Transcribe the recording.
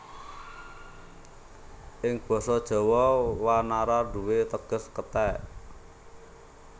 Ing Basa Jawa wanara nduwé teges kethèk